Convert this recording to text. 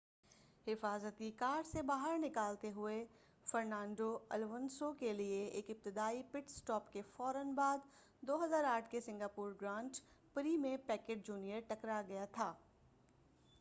حفاظتی کار سے باہر نکالتے ہوئے فرنانڈو الونسو کیلئے ایک ابتدائی پٹ اسٹاپ کے فورا بعد 2008 کے سنگاپور گرانڈ پری میں پیکیٹ جونیئر ٹکرا گیا تھا